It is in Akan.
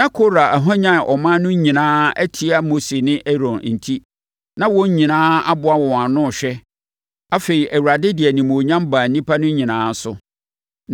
Na Kora ahwanyane ɔman no nyinaa atia Mose ne Aaron enti, na wɔn nyinaa aboa wɔn ho ano rehwɛ. Afei, Awurade de animuonyam baa nnipa no nyinaa so